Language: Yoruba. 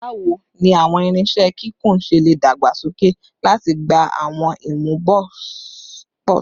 Bawo ni awọn irinṣẹ kikun ṣe le dagbasoke lati gba awọn imuposi kikun ọjọ iwaju?